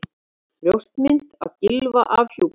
Brjóstmynd af Gylfa afhjúpuð